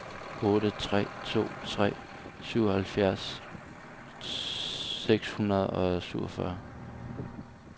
otte tre to tre syvoghalvfjerds seks hundrede og syvogfyrre